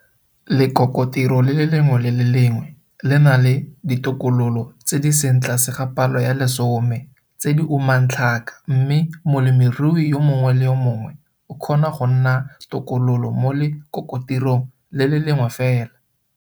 Lekokotiro le lengwe le le lengwe le na le ditokololo tse di seng tlase ga palo ya lesome tse di umang tlhaka mme molemirui yo mongwe le yo mongwe o kgona go nna tokololo mo lekokotirong le le lengwe fela.